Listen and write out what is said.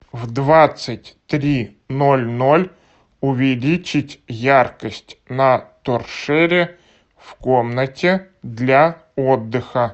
в двадцать три ноль ноль увеличить яркость на торшере в комнате для отдыха